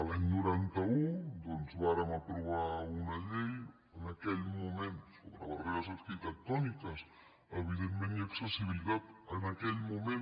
l’any noranta un doncs vàrem aprovar una llei en aquell moment sobre barreres arquitectòniques evidentment i accessibilitat en aquell moment